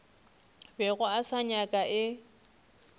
bego a se nyaka e